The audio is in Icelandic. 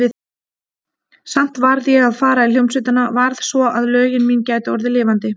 Samt varð ég að fara í hljómsveitina, varð, svo að lögin mín gætu orðið lifandi.